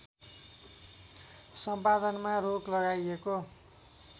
सम्पादनमा रोक लगाईएको